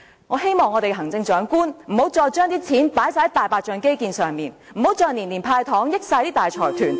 我希望我們的行政長官再不要把錢投放在"大白象"基建工程上，不要再年年"派糖"，益惠大財團......